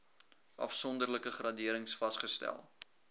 afsonderlike graderings vasgestel